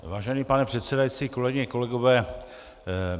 Vážený pane předsedající, kolegyně, kolegové.